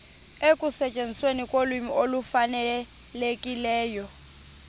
ekusetyenzisweni kolwimi olufanelekileyo